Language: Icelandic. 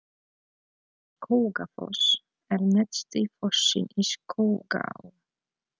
Skógafoss er neðsti fossinn í Skógaá.